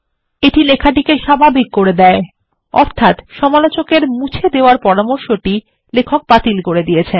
এটি লেখাটিকে স্বাভাবিক করে দেয় অর্থাত্ সমালোচক মুছে দেওয়ার পরামর্শটি লেখক বাতিল করে দিয়েছেন